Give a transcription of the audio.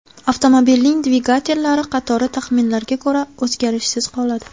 Avtomobilning dvigatellari qatori, taxminlarga ko‘ra, o‘zgarishsiz qoladi.